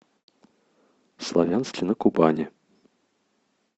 славянске на кубани